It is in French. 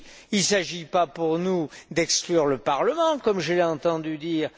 Il ne s'agit pas pour nous d'exclure le Parlement, comme je l'ai entendu dire.